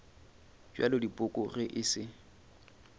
bja dipoko ge e se